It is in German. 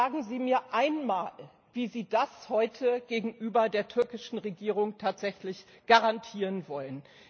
Sagen Sie mir einmal, wie Sie das heute gegenüber der türkischen Regierung tatsächlich garantieren wollen.